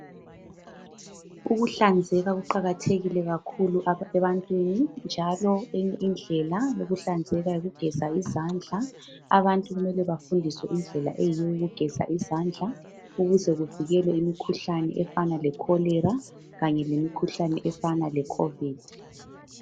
ukuhlanzeka kuqakathekile kakhulu ebantwini njalo eyinye indlela yokuhlanzeka yikugeza izandla abantu kumele bafundiswe indlela eyiyo yokugeza izandla ukuze bevikele emikhuhlaneni efana le cholera kanye le khovidi